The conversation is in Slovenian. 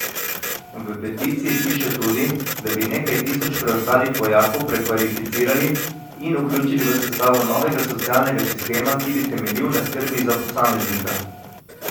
V peticiji piše tudi, da bi nekaj tisoč preostalih vojakov prekvalificirali in vključili v sestavo novega socialnega sistema, ki bi temeljil na skrbi za posameznika.